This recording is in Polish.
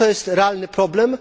To jest realny problem.